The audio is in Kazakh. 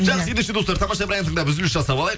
жақсы ендеше достар тамаша бір ән тыңдап үзіліс жасап алайық